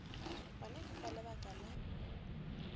gona ke ka lebaka la